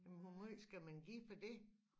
Men hvor meget skal man give for dét?